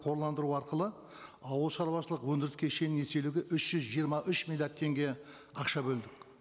қорландыру арқылы ауылшаруашылық өндіріс кешенін еселеуге үш жүз жиырма үш миллиард теңге ақша бөлдік